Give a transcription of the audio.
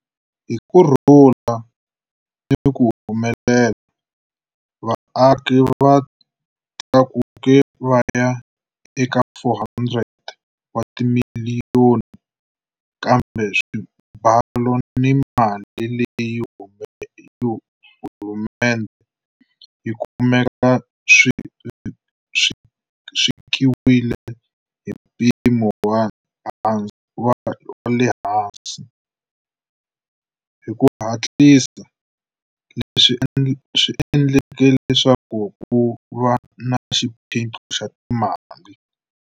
Hi kurhula ni ku humelela, vaaki va tlakuke va ya eka 400 wa timiliyoni, kambe swibalo ni mali leyi hulumendhe yi kumaka swi vekiwile hi mpimo wa le hansi, hi ku hatlisa leswi endleke leswaku ku va ni xiphiqo xa timali.